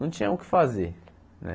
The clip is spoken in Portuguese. Não tinha o que fazer, né?